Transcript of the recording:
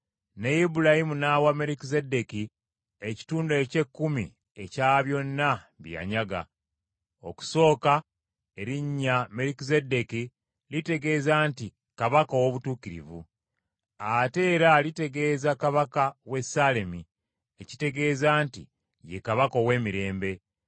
Ne Ibulayimu n’awa Merukizeddeeki ekitundu eky’ekkumi ekya byonna bye yanyaga. Okusooka erinnya Merukizeddeeki litegeeza nti Kabaka ow’Obutuukirivu. Ate era litegeeza kabaka w’e Ssaalemi ekitegeeza nti ye kabaka ow’emirembe.